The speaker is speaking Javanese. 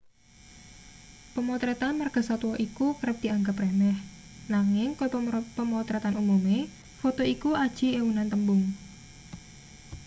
pemotretan margasatwa iku kerep dianggep remeh nanging kaya pemotretan umume foto iku aji ewunan tembung